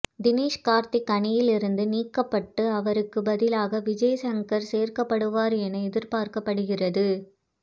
தினேஷ் கார்த்திக் அணியிலிருந்து நீக்கப்பட்டு அவருக்கு பதிலாக விஜய் சங்கர் சேர்க்கப்படுவார் என எதிர்பார்க்கப்படுகிறது